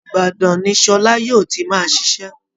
Ìbadàn ni Sọlá yóò ti máa ṣiṣẹ́